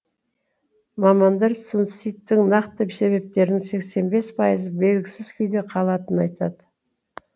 мамандар суицидтің нақты себептерінің сексен бес пайызы белгісіз күйде қалатынын айтады